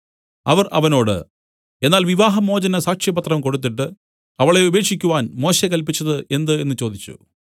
അവർ അവനോട് എന്നാൽ വിവാഹമോചന സാക്ഷ്യപത്രം കൊടുത്തിട്ട് അവളെ ഉപേക്ഷിക്കുവാൻ മോശെ കല്പിച്ചത് എന്ത് എന്നു ചോദിച്ചു